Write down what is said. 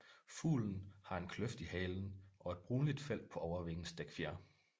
Fuglen har en kløft i halen og et brunligt felt på overvingens dækfjer